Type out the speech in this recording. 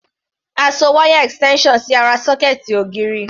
A so wáyà extension sí ará sọ́kẹ̀ẹ̀tì ògiri.